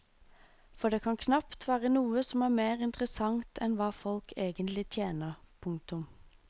For det kan knapt være noe som er mer interessant enn hva folk egentlig tjener. punktum